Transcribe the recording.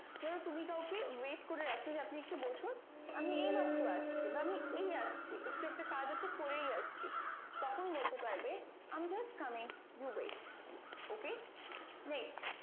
ধরো তুমি কাউকে wight করে রাখছো যে আপনি একটু বসুন আমি এই মাত্র আসছি বা আমি এই আসছি একটু একটা একজ আছে করেই আসছি তখন বলতে পারবে i am just coming you wight ok next